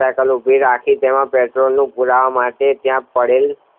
cycle ઉભી રાખી તેમાં પેટ્રોલનું પુરાવા માટે ત્યાં પડેલી